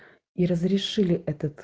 и разрешили этот